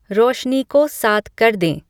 रोशनी को सात कर दें